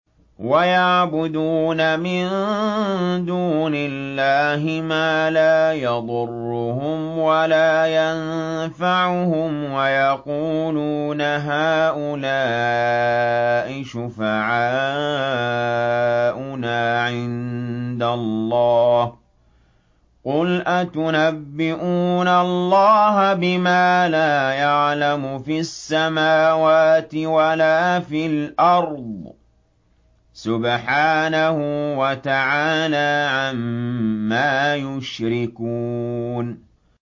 وَيَعْبُدُونَ مِن دُونِ اللَّهِ مَا لَا يَضُرُّهُمْ وَلَا يَنفَعُهُمْ وَيَقُولُونَ هَٰؤُلَاءِ شُفَعَاؤُنَا عِندَ اللَّهِ ۚ قُلْ أَتُنَبِّئُونَ اللَّهَ بِمَا لَا يَعْلَمُ فِي السَّمَاوَاتِ وَلَا فِي الْأَرْضِ ۚ سُبْحَانَهُ وَتَعَالَىٰ عَمَّا يُشْرِكُونَ